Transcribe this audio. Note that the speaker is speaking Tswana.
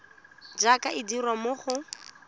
jaaka e dirwa mo go